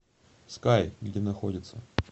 скай где находится